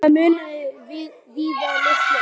Það munaði víða litlu.